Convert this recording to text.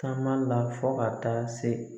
Taama la fɔ ka taa se